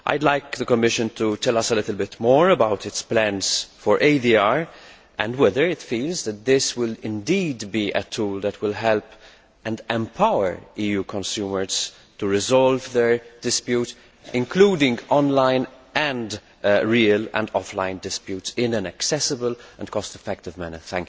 I would like the Commission to tell us a little bit more about its plans for ADR, and whether it feels that this will indeed be a tool that will help and empower EU consumers to resolve their disputes, including online and real offline disputes, in an accessible and cost effective manner.